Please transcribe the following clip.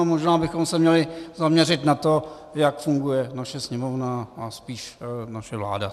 A možná bychom se měli zaměřit na to, jak funguje naše Sněmovna a spíš naše vláda.